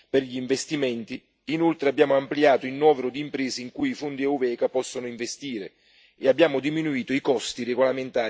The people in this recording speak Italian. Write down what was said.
inoltre abbiamo ampliato il novero di imprese in cui i fondi UeVECA possono investire e abbiamo diminuito i costi regolamentari attualmente esistenti.